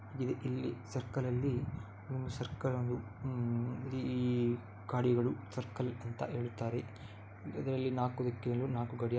ಇಲ್ಲಿ ಸರ್ಕಲ್ ಅಲ್ಲಿ ಸರ್ಕಲ್ ನಲ್ಲಿ ಸರ್ಕಲಲ್ಲಿ ಈ ಗಾಡಿಗಳು ಸರ್ಕಲ್ ಅಂತ ಹೇಳುತ್ತಾರೆ. ಇದರಲ್ಲಿ ನಾಲ್ಕು ದಿಕ್ಕಿನಲ್ಲಿ ನಾಲ್ಕು ಗಡಿಯಾ --